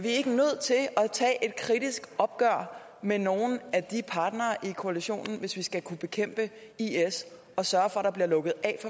tage et kritisk opgør med nogle de partnere i koalitionen hvis vi skal kunne bekæmpe is og sørge for at der bliver lukket af